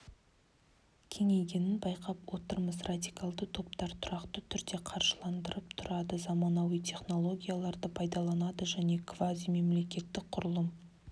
кеңейгенін байқап отырмыз радикалды топтар тұрақты түрде қаржыландырылып тұрады заманауи технологияларды пайдаланады және квазимемлекеттік құрылым